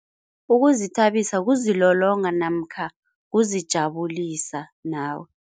Ukuzithabisa kuzilolonga namkha kuzijabulisa nawe.